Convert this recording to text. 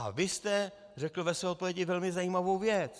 A vy jste řekl ve své odpovědi velmi zajímavou věc.